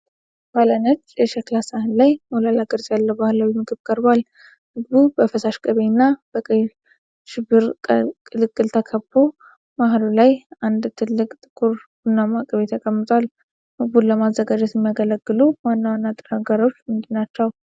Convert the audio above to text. ባለ ነጭ የሸክላ ሳህን ላይ ሞላላ ቅርጽ ያለው ባህላዊ ምግብ ቀርቧል። ምግቡ በፈሳሽ ቅቤ እና በቀይ ሽብር ቅልቅል ተከቦ፣ መሃሉ ላይ አንድ ትልቅ ጥቁር ቡናማ ቅቤ ተቀምጧል። ምግቡን ለማዘጋጀት የሚያገለግሉት ዋና ንጥረ ነገሮች ምንድን ናቸው?